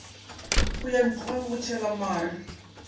go ya ntlwang ya botshwelamare